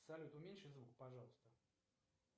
салют уменьши звук пожалуйста